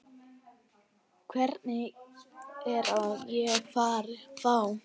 Hvern er ég að fá?